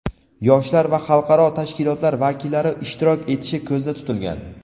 yoshlar va xalqaro tashkilotlar vakillari ishtirok etishi ko‘zda tutilgan.